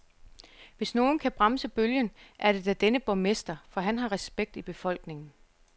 Hvis nogen kan bremse bølgen, er det da denne borgmester, for han har respekt i befolkningen.